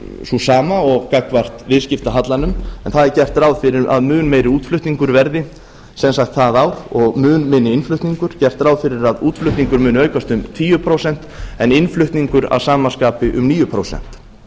sú sama og gagnvart viðskiptahallanum en það er gert ráð fyrir að mun meiri útflutningur verði sem sagt það ár og mun minni innflutningur gert ráð fyrir að útflutningur muni aukast um tíu prósent en innflutningur að sama skapi um níu prósent